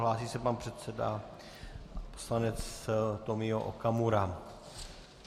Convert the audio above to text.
Hlásí se pan předseda, poslanec Tomio Okamura.